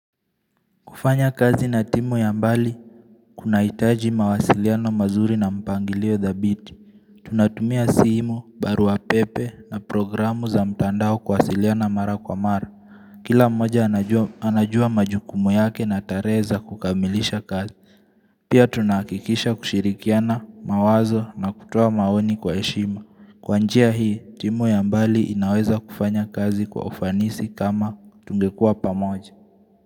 Kufanya kazi na timu ya mbali, kuna itaji mawasiliano mazuri na mpangilio thabiti. Tunatumia simu, barua pepe na programu za mtandao kuwasiliana mara kwa mara. Kila mmoja anajua majukumu yake na tare za kukamilisha kazi. Pia tunahakikisha kushirikiana mawazo na kutoa maoni kwa heshima. Kwa njia hii, timu ya mbali inaweza kufanya kazi kwa ufanisi kama tungekua pamoja.